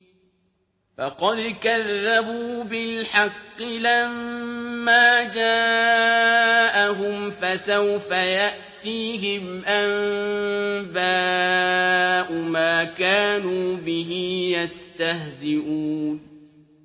فَقَدْ كَذَّبُوا بِالْحَقِّ لَمَّا جَاءَهُمْ ۖ فَسَوْفَ يَأْتِيهِمْ أَنبَاءُ مَا كَانُوا بِهِ يَسْتَهْزِئُونَ